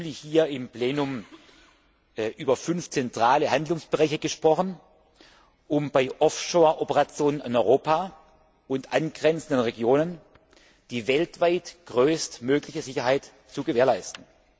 7. Juli hier im Plenum über fünf zentrale Handlungsbereiche gesprochen, um bei Offshore Operationen in Europa und angrenzenden Regionen die weltweit größtmögliche Sicherheit zu gewährleisten.